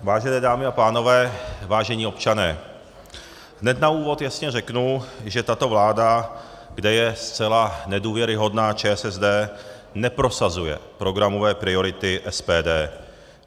Vážené dámy a pánové, vážení občané, hned na úvod jasně řeknu, že tato vláda, kde je zcela nedůvěryhodná ČSSD, neprosazuje programové priority SPD.